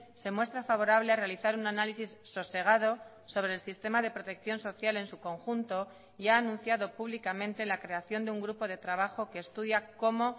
se muestra favorable a realizar un análisis sosegado sobre el sistema de protección social en su conjunto y ha anunciado públicamente la creación de un grupo de trabajo que estudia cómo